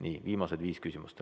Nii, viimased viis küsimust.